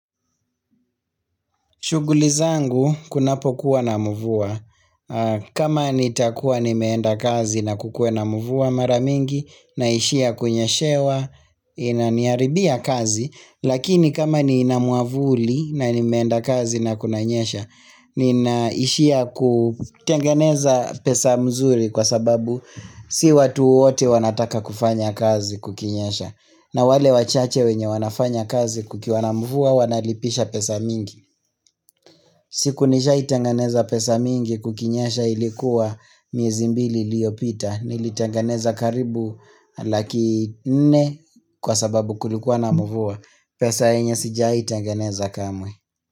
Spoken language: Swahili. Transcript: Shughuli zangu, kunapokuwa na mvua. Kama nitakuwa nimeenda kazi na kukuwe na mvua maramingi, naishia kunyeshewa, inaniharibia kazi, lakini kama ni nina mwavuli na nimeenda kazi na kunanyesha, ninaishia kutengeneza pesa mzuri kwa sababu si watu wote wanataka kufanya kazi kukinyesha. Na wale wachache wenye wanafanya kazi kukiwana mvua wanalipisha pesa mingi siku nishai tengeneza pesa mingi kukinyesha ilikuwa miezi mbili iliyopita Nilitanganeza karibu laki nne kwa sababu kulikuwana mvua pesa yenye sijawahi tenganeza kamwe.